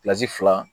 fila